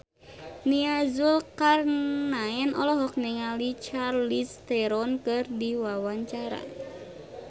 Nia Zulkarnaen olohok ningali Charlize Theron keur diwawancara